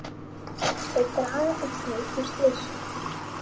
Þau draga einnig úr slysum.